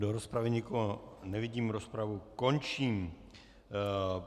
Do rozpravy nikoho nevidím, rozpravu končím.